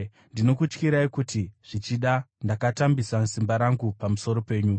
Ndinokutyirai kuti zvichida ndakatambisa simba rangu pamusoro penyu.